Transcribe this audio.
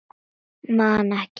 Man ekki.